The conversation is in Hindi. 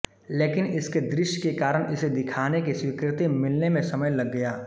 लेकिन इसके दृश्य के कारण इसे दिखाने की स्वीकृति मिलने में समय लग गया